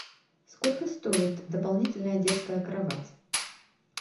сколько стоит дополнительная детская кровать